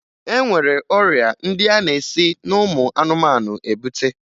E nwere ọrịa ndị a na-esi n'ụmụ anụmanụ ebute